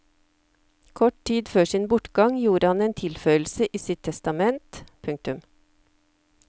Kort tid før sin bortgang gjorde han en tilføyelse i sitt testament. punktum